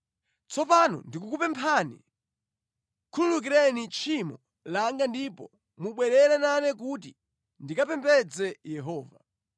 Tsopano ndikukupemphani, khululukireni tchimo langa ndipo mubwerere nane kuti ndikapembedze Yehova.”